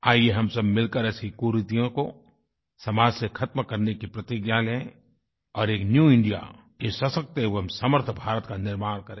आइये हम सब मिलकर ऐसी कुरीतियों को समाज से ख़त्म करने की प्रतिज्ञा लें और एक न्यू इंडिया एक सशक्त एवं समर्थ भारत का निर्माण करें